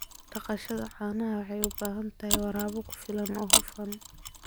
Dhaqashada caanaha waxay u baahan tahay waraab ku filan oo hufan.